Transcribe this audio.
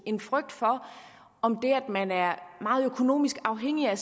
en frygt for om det at man er meget økonomisk afhængig af